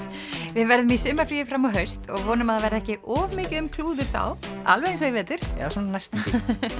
við verðum í sumarfríi fram á haust og vonum að það verði ekki of mikið um klúður þá alveg eins og í vetur eða svona næstum því